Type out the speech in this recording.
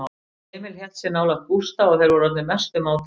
Emil hélt sig nálægt Gústa og þeir voru orðnir mestu mátar.